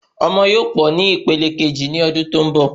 Ọmọ yóò pọ sí ní ìpele keji ni ọdún tó n bọ